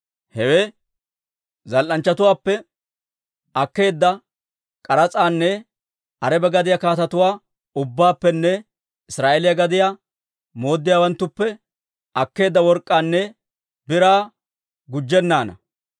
Hewe zal"anchchatuwaappe akkeedda k'aras'aanne Araba gadiyaa kaatetuwaa ubbaappenne Israa'eeliyaa gadiyaa mooddiyaawanttuppe akkeedda work'k'aanne biraa gujjennaana.